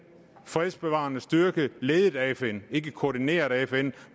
fredsbevarende styrke ledet af fn ikke koordineret af fn